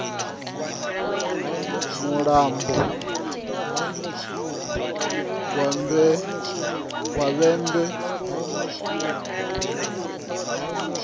mulambo wa vhembe a wetshela